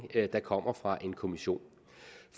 der kommer fra en kommission